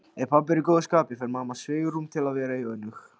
Ef pabbi er í góðu skapi fær mamma svigrúm til að vera önug.